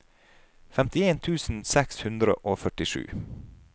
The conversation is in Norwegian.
femtien tusen seks hundre og førtisju